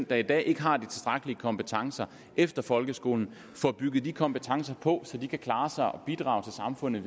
der i dag ikke har de tilstrækkelige kompetencer efter folkeskolen får bygget de kompetencer på så de kan klare sig og bidrage til samfundet